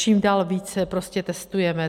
Čím dál více prostě testujeme.